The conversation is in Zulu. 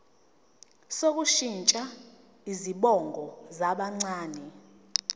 sokushintsha izibongo zabancane